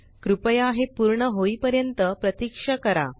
कृपया हे पूर्ण होई पर्यंत प्रतीक्षा करा